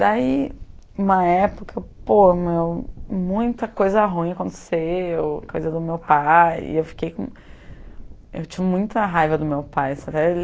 Daí, uma época, pô, meu, muita coisa ruim aconteceu, coisa do meu pai, e eu fiquei com... eu tinha muita raiva do meu pai, sabe?